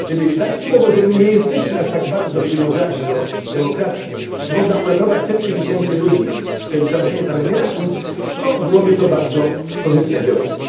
Gdyby dać słowo, że my nie jesteśmy aż tak bardzo przywiązani do demokracji i można uratować setki tysięcy ludzi przez ustanowienie tam emiratu, to byłoby to bardzo korzystne działanie.